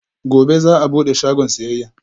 Gobe ​​za'a bude shagon siyayya